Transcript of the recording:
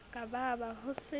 ka ba ba ho se